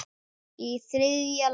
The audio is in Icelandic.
Og í þriðja lagi.